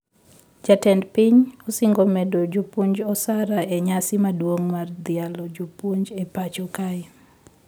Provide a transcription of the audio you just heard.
Jatend piny osingo medo jopuonj osara e nyasi maduong mar dhialo jopuonj e pacho kae